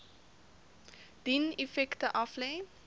dien effekte aflê